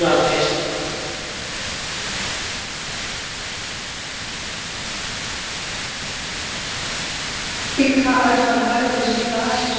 Ik ga uit van de huidige situatie zoals we er in Nederland volkomen goed bovenop zitten. Je moet er duidelijk achteraan gaan hoe asielzoekers binnenkomen.